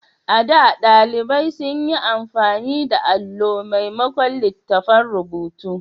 A da, ɗalibai sun yi amfani da alo maimakon littattafan rubutu.